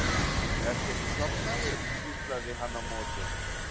Ertu ekki sofnaður? hvíslaði hann á móti.